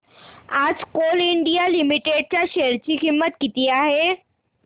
आज Coal India Limited च्या शेअर ची किंमत किती आहे